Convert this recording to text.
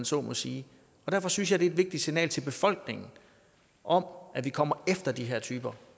så må sige og derfor synes jeg er et vigtigt signal til befolkningen om at vi kommer efter de her typer